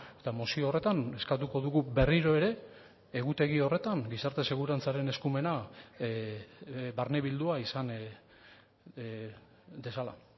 eta mozio horretan eskatuko dugu berriro ere egutegi horretan gizarte segurantzaren eskumena barnebildua izan dezala